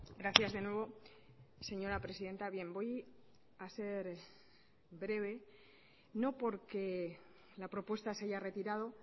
gracias de nuevo señora presidenta bien voy a ser breve no porque la propuesta se haya retirado